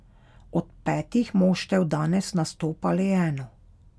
Od petih moštev danes nastopa le eno.